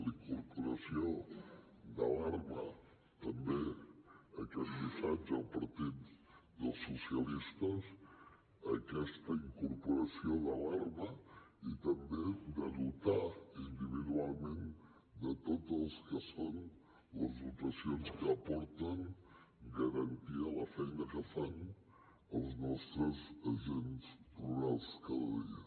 la incorporació d’alarma també aquest missatge al partit dels socialistes aquesta incorporació d’alarma i també de dotar individualment de tot el que són les dotacions que aporten garantia a la feina que fan els nostres agents rurals cada dia